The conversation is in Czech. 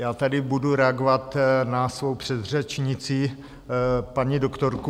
Já tady budu reagovat na svou předřečnici, paní doktorku.